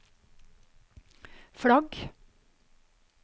flagg